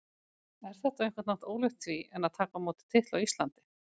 Er þetta á einhvern hátt ólíkt því en að taka á móti titli á Íslandi?